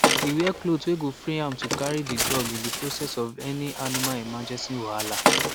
e wear cloth wey go free am to carry the dog in process of any animal emergency wahala